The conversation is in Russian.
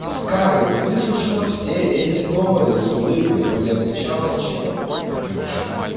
скарлетт выслушивала все эти доводы с улыбкой но не отвечала ничего